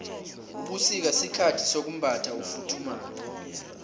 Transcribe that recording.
ubusika sikhathi sokumbatha ufuthumale